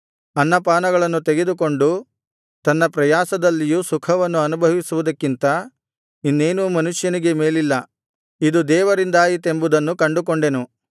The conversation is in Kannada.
ಅನ್ನ ಪಾನಗಳನ್ನು ತೆಗೆದುಕೊಂಡು ತನ್ನ ಪ್ರಯಾಸದಲ್ಲಿಯೂ ಸುಖವನ್ನು ಅನುಭವಿಸುವುದಕ್ಕಿಂತ ಇನ್ನೇನೂ ಮನುಷ್ಯನಿಗೆ ಮೇಲಿಲ್ಲ ಇದು ದೇವರಿಂದಾಯಿತೆಂಬುದನ್ನು ಕಂಡುಕೊಂಡೆನು